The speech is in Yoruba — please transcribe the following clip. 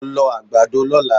Lọ lọ àgbàdo lọ́la!